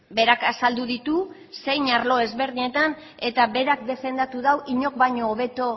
berak azaldu ditu zein arlo desberdinetan eta berak defendatu du inork baino hobeto